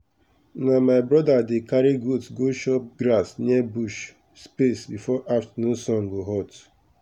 na my brother dey carry goat go chop grass near bush space before afternoon sun go hot.